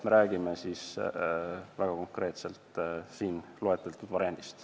Me räägime väga konkreetselt siin loetletud variandist.